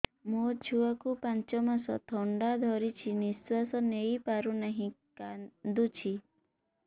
ମୋ ଛୁଆକୁ ପାଞ୍ଚ ମାସ ଥଣ୍ଡା ଧରିଛି ନିଶ୍ୱାସ ନେଇ ପାରୁ ନାହିଁ କାଂଦୁଛି